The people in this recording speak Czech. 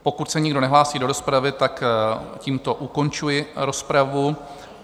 Pokud se nikdo nehlásí do rozpravy, tak tímto ukončuji rozpravu.